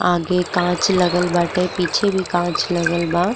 आगे काच बाटे। पीछे भी कांच लागल बा।